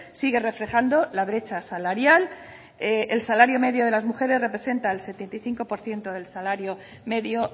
sigue reflejando la brecha salarial el salario medio de las mujeres representa el setenta y cinco por ciento del salario medio